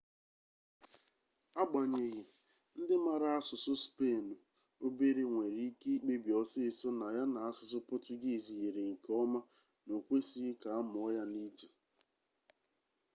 agbanyeghi ndị mara asụsụ spenụ obere nwere ike ikpebi ọsịịsọ na ya na asụsụ pọtugiizi yrir nke ọma na o kwesịghị ka a mụọ ya n'iche